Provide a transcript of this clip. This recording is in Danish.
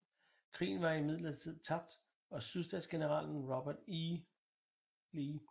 Krigen var imidlertid tabt og Sydstatsgeneralen Robert E